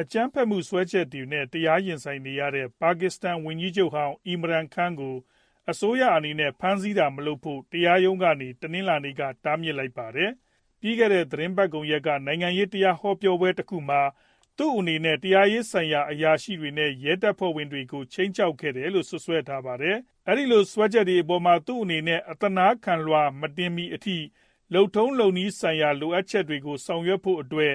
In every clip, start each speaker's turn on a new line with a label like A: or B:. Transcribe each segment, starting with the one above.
A: အကြမ်းဖက်မှု စွဲချက်နဲ့ တရားရင်ဆိုင်နေရတဲ့ ပါကစ္စတန် ဝန်ကြီးချုပ်ဟောင်း Imran Khan ကို အစိုးရအနေနဲ့ ဖမ်းဆီးတာ မလုပ်ဖို့ တရားရုံးကနေ တနင်္လာနေ့က တားမြစ်လိုက်ပါတယ်။ ပြီးခဲ့တဲ့ သီတင်းပတ်ကုန်ရက်က နိုင်ငံရေး တရားဟောပွဲတခုမှာ သူ့အနေနဲ့ တရားရေးဆိုင်ရာ အရာရှိတွေနဲ့ ရဲတပ်ဖွဲ့ဝင်တွေကို ခြိမ်းခြောက်ခဲ့တယ်လို့ စွပ်စွဲထားပါတယ်။ အဲဒီလို စွဲချက်တွေအပေါ်မှာ သူအနေနဲ့ အသနားခံလွှာ မတင်မီအထိ လုပ်နည်းလုပ်ထုံး ဆိုင်ရာ လိုအပ်ချက်တွေကို ဆောင်ရွက်ဖို့အတွက်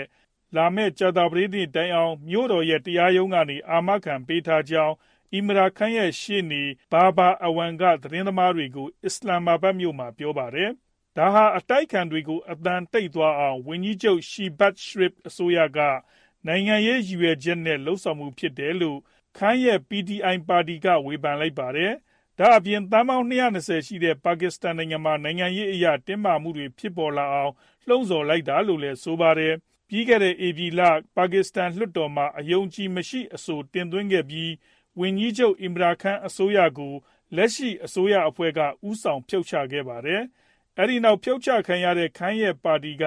A: လာမယ့် ကြာသပတေးနေ့ တိုင်အောင် မြို့တော်ရဲ့ တရားရုံးကနေ အာမခံပေးထားကြောင်း Imran Khan ရဲ့ ရှေ့နေ Babar Awan က သတင်းသမားတွေကို အစ္စလာမ္မာဘတ်မြို့မှာ ပြောပါတယ်။ ဒါဟာ အတိုက်အခံတွေကို အသံတိတ်သွားအောင် ဝန်ကြီးချုပ် Shehbaz Sharif အစိုးရက နိုင်ငံရေးရည်ရွယ်ချက် နဲ့ လုပ်ဆောင်မှုပဲ ဖြစ်တယ်လို့ Khan ရဲ့ PTI ပါတီက ဝေဖန်လိုက်ပါတယ်။ ဒါအပြင် သန်းပေါင်း ၂၂ဝ ရှိတဲ့ ပါကစ္စတန်နိုင်ငံမှာ နိုင်ငံရေးအရ တင်းမာမှုတွေ ဖြစ်ပေါ်လာအောင် လှုံဆော်လိုက်တာလို့လည်း ဆိုပါတယ်။ ပြီးခဲ့တဲ့ ဧပြီလက ပါကစ္စတန် လွှတ်တော်မှာ အယုံအကြည်မရှိအဆိုတင်သွင်းခဲ့ပြီး ဝန်ကြီးချုပ် Imran Khan အစိုးရကို အခုလက်ရှိ အစိုးရအဖွဲ့က ဦးဆောင် ဖြုတ်ချခဲ့ပါတယ်။ အဲဒီနောက် ဖြုတ်ချခံခဲ့ရတဲ့ Khan ရဲ့ ပါတီက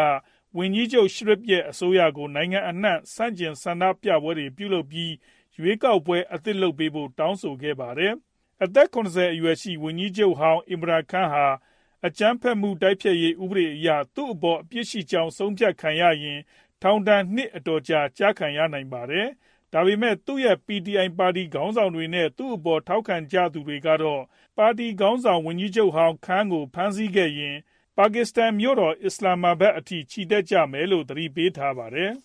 A: ဝန်ကြီးချုပ် Sharif ရဲ့ အစိုးရကို နိုင်ငံအန့ှံ ဆန့်ကျင် ဆန္ဒပြပွဲတွေပြုလုပ်ပြီး ရွေးကောက်ပွဲအသစ်လုပ်ပေးဖို့ တောင်းဆိုခဲ့ကြပါတယ်။ အသက် ၇ဝ အရွယ်ရှိ ဝန်ကြီးချုပ်ဟောင်း Imran Khan ဟာ အကြမ်းဖက်မှု တိုက်ဖျက်ရေး ဥပဒေအရ သူအပေါ် အပြစ်ရှိကြောင်း ဆုံးဖြတ်ခံရရင် ထောင်ဒဏ် နှစ် အတော်ကြာ ကျခံရနိုင်ပါတယ်။ ဒါပေမယ့်လည်း သူရဲ့ PTI ပါတီ ခေါင်ဆောင်တွေ နဲ့ သူအပေါ် ထောက်ခံကြသူတွေကတော့ ပါတီခေါင်းဆောင် ဝန်ကြီးချုပ်ဟောင်း Khan ကို ဖမ်းဆီးရင် ပါကစ္စတန်မြို့တော် အစ္စလာမ္မာဘတ်အထိ ချီတက်ကြမယ်လို့ သတိပေးထားပါတယ်။